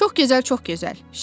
Çox gözəl, çox gözəl.